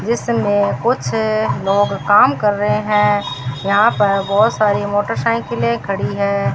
जिसमें कुछ लोग काम कर रहे हैं यहां पर बहोत सारी मोटरसाइकिलें खड़ी हैं।